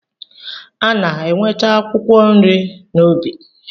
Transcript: A na-enweta akwụkwọ nri n'ubi.